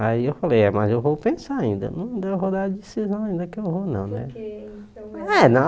Aí eu falei, é mas eu vou pensar ainda, não vou dar a decisão ainda que eu vou não né. ah é